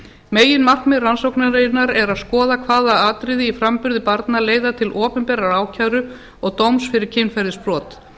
meginmarkmið rannsóknarinnar er að skoða hvaða atriði í framburði barna leiða til opinberrar ákæru og dóms fyrir kynferðisbrot